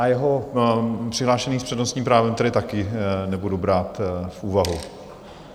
A jeho přihlášení s přednostním právem tedy taky nebudu brát v úvahu?